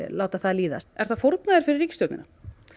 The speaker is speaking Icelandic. láta það líðast ertu að fórna þér fyrir ríkisstjórnina